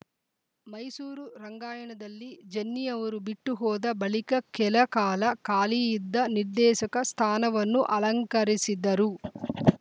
ಮೈಸೂರು ರಂಗಾಯಣದಲ್ಲಿ ಜನ್ನಿ ಅವರು ಬಿಟ್ಟುಹೋದ ಬಳಿಕ ಕೆಲ ಕಾಲ ಖಾಲಿಯಿದ್ದ ನಿರ್ದೇಶಕ ಸ್ಥಾನವನ್ನು ಅಲಂಕರಿಸಿದರು